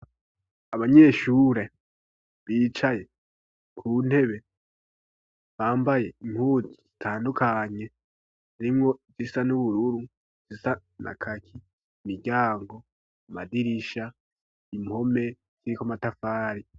Abanyeshure bicaye ku ntebe bambaye impuzu zitandukanye harimwo izisa n'ubururu izisa na kaki imiryango, amadirisha, impome ziriko amatafari.